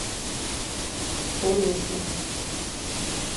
олеси